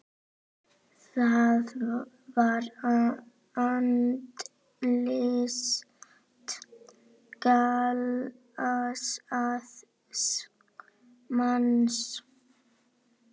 Það var andlit glataðs manns.